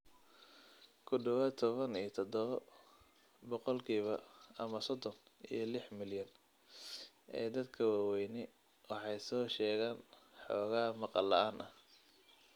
Ku dhawaad ​​tobaan iyo tadhawo boqolkiiba, ama sodhon iyo liix milyan, ee dadka waaweyni waxay soo sheegaan xoogaa maqal la'aan ah.